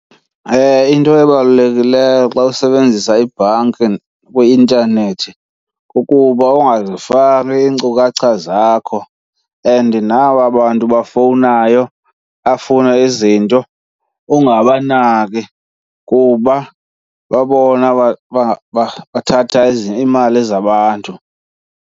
Into ebalulekileyo xa usebenzisa ibhanki kwi-intanethi kukuba ungazifaki iinkcukacha zakho, and naba bantu bafowunayo bafune izinto ungabanaki kuba babona bathatha iimali zabantu.